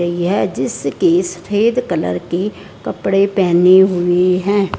यह जिसके सफेद कलर की कपड़े पहनी हुई है।